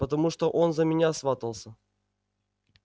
потому что он за меня сватался